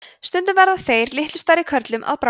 stundum verða þeir litlu stærri körlum að bráð